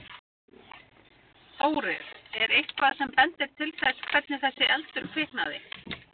Þórir: Er eitthvað sem bendir til þess hvernig þessi eldur kviknaði?